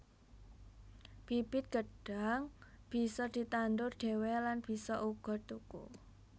Bibit gêdhang bisa ditandur dhewé lan bisa uga tuku